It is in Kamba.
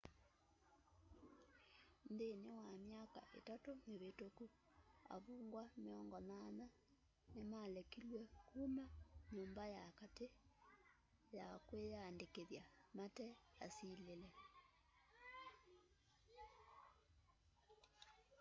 nthĩnĩ wa myaka itatũ mĩvĩtũkũ avũngwa 80 nĩmalekĩlye kũma nyũmba ya katĩ ya kwĩyandĩkĩthya mate asĩlĩle